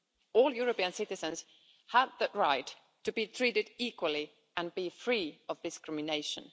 All European citizens have the right to be treated equally and be free of discrimination.